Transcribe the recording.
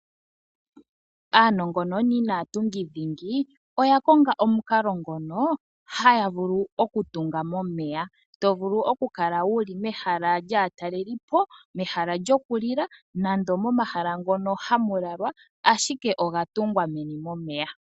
Aanongononi naatungi dhingi , oya konga omukalo ngono haya vulu okutunga momeya. Tovulu okukala wuli mehala lyaatalelipo, mehala lyokulila, nando momahala mono hamu lalwa ashike oga tungwa meni momeya.